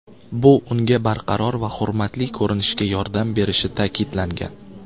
Bu unga barqaror va hurmatli ko‘rinishga yordam berishi ta’kidlangan.